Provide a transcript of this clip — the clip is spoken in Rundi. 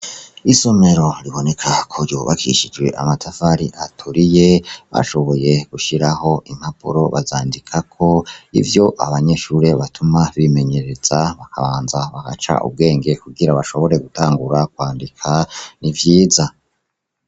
Isomero riboneka ko ryubakishijwe amatafari aturiye, bashoboye gushiraho impapuro bazandikako ivyo abanyeshure batuma bimenyereza bakabanza bagaca ubwenge kugira bashobore gutangura kwandika, ni vyiza.